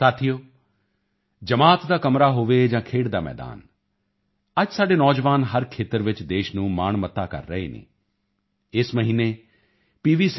ਸਾਥੀਓ ਜਮਾਤ ਦਾ ਕਮਰਾ ਹੋਵੇ ਜਾਂ ਖੇਡ ਦਾ ਮੈਦਾਨ ਅੱਜ ਸਾਡੇ ਨੌਜਵਾਨ ਹਰ ਖੇਤਰ ਵਿੱਚ ਦੇਸ਼ ਨੂੰ ਮਾਣਮੱਤਾ ਕਰ ਰਹੇ ਹਨ ਇਸੇ ਮਹੀਨੇ ਪੀ